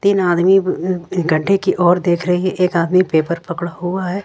तीन आदमी गढ्ढे की ओर देख रही एक आदमी पेपर पड़ा हुआ है।